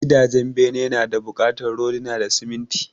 Gidajen bene nada bukatar rodina da siminti